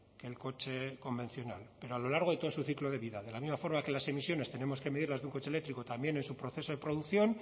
que el coche convencional pero a lo largo de todo su ciclo de vida de la misma forma que las emisiones tenemos que medirlas de un coche eléctrico también en su proceso de producción